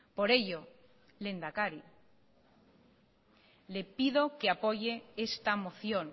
por ello lehendakari le pido que apoye esta moción